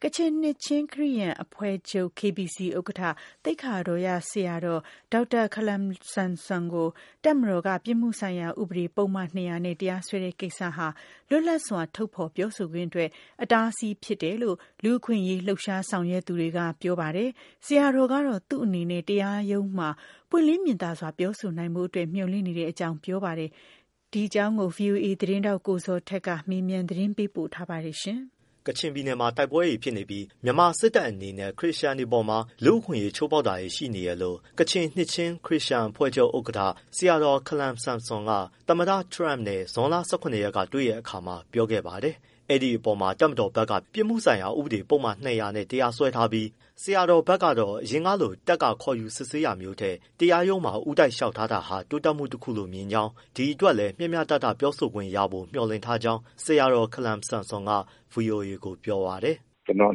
ကချင်နှစ်ချင်းခရစ်ယာန်အဖွဲ့ချုပ် KBC ဥက္ကဋ္ဌ သိက္ခာတော်ရဆရာတော် ဒေါက်တာ ခါလမ် ဆမ်ဆွန်ကို ပြစ်မှုဆိုင်ရာဥပဒေ ပုဒ်မ ၂၀၀ နဲ့ တပ်မတော်က ရုံးတော်ကို ဦးတိုက်လျှောက် ထားတာဟာ လွတ်လပ်စွာ ထုတ်ဖော်ပြောဆိုခွင့်အတွက် အတားအဆီးဖြစ်တယ်လို့ လူ့အခွင့်အရေးလှုပ်ရှား ဆောင်ရွက်သူတွေကပြောပါတယ်။ ဆရာတော်ကတော့ သူ့နေနဲ့ တရားရုံးမှာ ပွင့်လင်းမြင်သာစွာ ပြောဆိုနိုင်ဖို့အတွက်မျှော်လင့်နေတဲ့ အကြောင်းပြောပါ တယ်။ ဗွီအိုအေ သတင်းထောက် ကိုဇော်ထက် မေးမြန်းပေးပို့ထားပါတယ်။ ကချင်ပြည်နယ်မှာ တိုက်ပွဲတွေဖြစ်နေပြီး မြန်မာစစ်တပ်အနေနဲ့ ခရစ်ယာန်တွေအပေါ်မှာ လူ့အခွင့်အရေး ချိုးဖော်ကမှုတွေရှိနေတယ်လို့ ကချင်နှစ်ချင်း ခရစ်ယာန်အဖွဲ့ချုပ် ဥက္ကဋ္ဌ ဆရာတော် ခါလမ်ဆမ်ဆွန်က သမ္မတ Trump နဲ့ ဇွန်လ ၁၇ ရက်ကတွေ့တဲ့အခါမှာ ပြောခဲ့ပါတယ်။ အဲဒီအပေါ်မှာ တပ်မတော် ဘက်က ပြစ်မှုဆိုင်ရာဥပဒေ ပုဒ်မ ၂၀၀နဲ့ တရားစွဲထားပြီး ဆရာတော်ဘက်ကတော့ အရင်ကလို တပ်က ခေါ်ယူ စစ်ဆေးတာထက် တရားရုံးမှာ ဦးတိုက် လျှောက်ထားလာတာဟာ တိုးတက်မှုတခုလို့မြင်ကြောင်း၊ ဒီအတွက်လည်း မျှမျှတတပြောဆိုခွင့်ရဖို့မျှော်လင့်ထားကြောင်း ဆရာတော် ခါလမ်ဆမ်ဆွန်က ဗွီအိုအေကိုပြောပါတယ်။ “ကျနော့်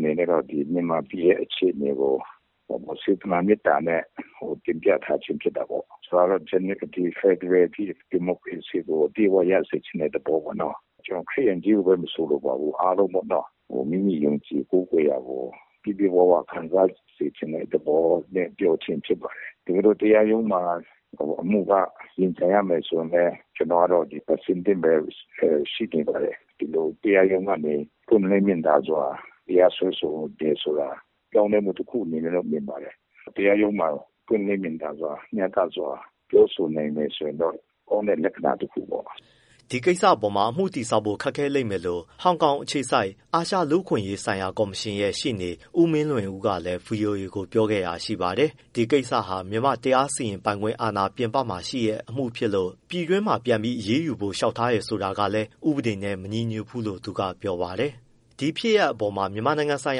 အနေနဲ့ကတော့ မြန်မာပြည်ရဲ့ အခြေအနေကို စေတနာမေတ္တာနဲ့ တင်ပြထားခြင်း ဖြစ်တာပေါ့။ ဖက်ဒရယ်ဒီမိုကရေစီကို အပြည့်အဝရချင်တဲ့ သဘောပေါ့နော်။ ခရစ်ယာန်ကို ချည်း မဆိုလိုပါဘူး အားလုံးပေါ့နော မိမိယုံကြည်ကိုးကွယ်ရာကို ပြည့်ပြည့်ဝဝ ခံစားစေ ချင်တဲ့ သဘောနဲ့ ပြောခြင်းဖြစ်ပါတယ် တကယ်လို့တရားရုံးမှာ အမှုက ရင်ဆိုင်ရမယ် ဆိုရင်လည်း ကျနော်ကအဆင်သင့်ပဲ ရှိနေပါတယ်။ တရားရုံးကနေ ပွင့်လင်းမြင်သာစွာ တရားစွဲဆိုတယ်ဆိုတာ ပြောင်းလဲမှုတခုအနေနဲ့တော့ မြင်ပါတယ်။ တရားရုံးမှာ ပွင့်လင်းမြင်သာစွာ မျှတစွာ ပြောဆိုနိုင်မယ်ဆိုရင်တော့ ကောင်းတဲ့ လက္ခဏာတခုပေါ့။” ဒီကိစ္စပေါ်မှာ အမှုတည်ဆောက်ဖို့ ခက်ခဲလိမ့်မယ်လို့ ဟောင်ကောင်အခြေစိုက် အာရှလူ့ အခွင့်အရေးကော်မရှင်ရဲ့ ရှေ့နေ ဦးမင်းလွင်ဦးကလည်း ဗွီအိုအေကို ပြောခဲ့တာရှိပါတယ်။ ဒီကိစ္စဟာ မြန်မာ့တရား စီရင်ပိုင်ခွင့်အာဏာအပြင်မှာ ဖြစ်တဲ့အမှုကို ပြည်တွင်းမှာပြန်ပြီး အရေးယူဖို့ လျှောက်တယ်ဆိုတာ ကလည်း ဥပဒေနဲ့မညီညွှတ်ဘူးလို့ သူကပြောပါတယ်။ ဒီဖြစ်ရပ်အပေါ် မြန်မာနိုင်ငံဆိုင်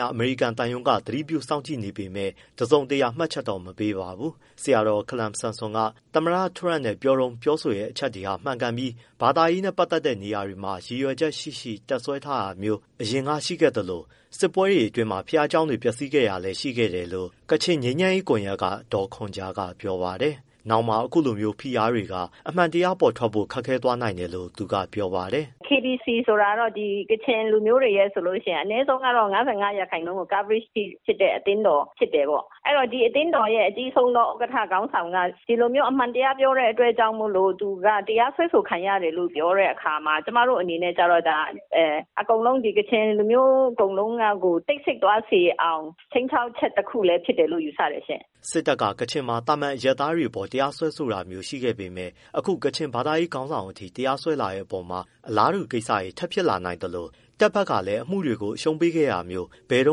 ရာ အမေရိကန်သံရုံးက တစုံတရာ မှတ်ချက် မပေးပါဘူး။ ဆရာတော် ခါလမ်ဆမ်ဆွန် က သမ္မတထရမ့်နဲ့တွေ့တုန်း ပြောတဲ့အချက်တွေဟာ မှန်ကန်ပြီး ဘာသာရေးနဲ့ပတ်သက်တဲ့နေရာတွေမှာ ရည်ရွယ်ချက်ရှိရှိ တပ်စွဲထားတာမျိုး အရင်ကရှိခဲ့ သလို၊ စစ်ပွဲအတွင်း ဘုရားကျောင်းတွေ ပျက်စီးခဲ့တာလည်းရှိခဲ့ပါတယ်လို့ ကချင်ငြိမ်းချမ်းရေးကွန်ရက်က ဒေါ်ခွန်ဂျာက ပြောပါ တယ်။ နောင်မှာ အခုလိုမျိုး ဖိအားတွေက အမှန်တရား ပေါ်ထွက်ဖို့ ခက်ခဲသွားစေနိုင် တယ်လို့ သူကပြောတာပါ။ “KBC ဆိုတာကတော့ ကချင်လူမျိုးတွေ အနည်းဆုံး ၅၅ %လောက်တော့ coverage တဲ့ အသင်းတော် ဖြစ်တယ်ပေါ့။ အဲဒီတော့ ဒီအသင်းတော်ရဲ့ အကြီးဆုံးဥက္ကဋ္ဌ ခေါင်းဆောင်က ဒီလိုမျိုး အမှန်တရားပြောတဲ့အတွက် ကြောင့်မို့လို့ တရားစွဲဆိုခံရတယ်လို့ ပြောတဲ့အခါမှာ ကျမတို့ အနေနဲ့ကျတော့ ကချင်လူမျိုး အကုန်လုံးကကို တိတ်ဆိတ် သွားစေအောင် ခြိမ်းခြောက်ချက် တခုလည်းဖြစ်တယ်လို့ ယူဆတယ်ရှင့်။” စစ်တပ်က ကချင်မှာ သာမန်အရပ်သားတွေအပေါ် တရားစွဲတာမျိုးတွေရှိခဲ့ပေမဲ့ အခု ကချင် ဘာသာရေး ခေါင်းဆောင်ထိ တရားစွဲလာတဲ့အပေါ်မှာ အလားတူ ကိစ္စတွေ ထပ်ဖြစ်လာနိုင်သလို တပ်ဘက်ကလည်း အမှုတွေကို အရှုံးပေးခဲ့တာမျိုး ဘယ်တု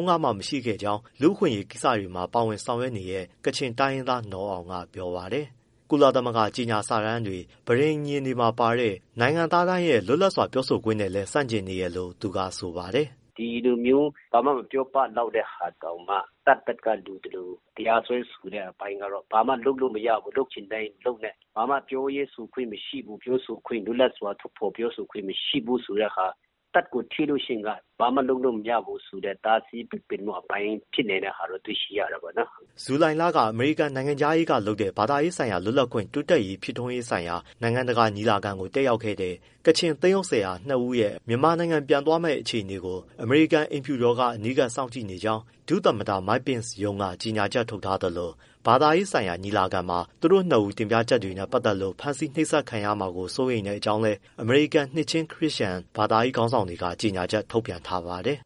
န်းကမှ မရှိခဲ့တဲ့အကြောင်း လူ့အခွင့်အရေးကိစ္စတွေ ပါဝင်ဆောင်ရွက်နေတဲ့ ကချင်တိုင်းရင်းသား နော်အောင်က ပြောပါတယ်။ ကုလသမဂ္ဂကြေညာစာတမ်းတွေ၊ ပဋိညာဉ်စာချုပ်တွေမှာ ပါတဲ့ နိုင်ငံသားတိုင်းရဲ့လွတ်လာစွာပြောဆိုခွင့်နဲ့လည်း ဆန့်ကျင်နေတယ်လို့ သူက ဆိုပါတယ်။ “ ဒီလိုမျိုး ဘာမှမပြောပလောက်တဲ့ဟာတောင်မှ တပ်ဘက်က လိုသလိုတရားစွဲတဲ့ အပိုင်းကတော့ ဘာမှလုပ်လို့မရဘူး လုပ်ချင်တိုင်းလုပ်မယ့် ဘာမှ ပြောရေးဆိုခွင့်မရှိဘူး လွတ်လပ်စွာ ထုတ်ဖော်ပြောဆိုခွင့်မရှိဘူးဆိုတဲ့ဟာ၊ တပ်ကိုထိလို့ရှိရင် ဘာမှလုပ်လို့ မရဘူးဆိုတဲ့ တားဆီးပိတ်ပင်မှုဖြစ်နေတဲ့ ဟာတော့တွေ့ရှိရတယ်ပေါ့နော်။” ဇူလိုင်လ က အမေရိကန်နိုင်ငံခြားရေးဌာနကလုပ်တဲ့ ဘာသာရေးလွတ်လပ်ခွင့် တိုးတက် ဖြစ်ထွန်းရေးဆိုင်ရာ နိုင်ငံတကာညီလာခံကို တက်ရောက်ခဲ့တဲ့ ကချင်သင်းအုပ် ဆရာ နှစ်ဦးရဲ့ မြန်မာနိုင်ငံ ပြန်သွားမယ့် အခြေအနေကို အမေရိကန် အိမ်ဖြူတော်က အနီးကပ်စောင့်ကြည့်နေကြောင်း ဒုသမ္မတ Mike Pence ရုံးက ကြေညာချက်ထုတ် ထားသလို ဘာသာရေးညီလာခံမှာ သူတို့နှစ်ဦးတင်ပြချက်တွေနဲ့ ပတ်သက်လို့ ဖမ်းဆီးနှိပ်စက်ခံရမှာ စိုးရိမ်ကြောင်းလည်း အမေရိကန်က နှစ်ချင်းခရစ်ယာန် ဘာသာရေးခေါင်းဆောင်တွေ ကြေညာချက်ထုတ်ပြန်ထားပါတယ်